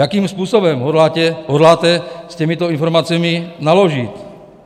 Jakým způsobem hodláte s těmito informacemi naložit?